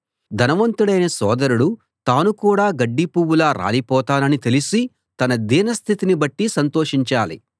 ధనవంతుడైన సోదరుడు తాను కూడా గడ్డి పువ్వులా రాలిపోతానని తెలిసి తన దీనస్థితిని బట్టి సంతోషించాలి